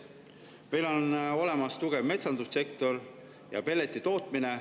Meil on olemas tugev metsandussektor ja pelletitootmine.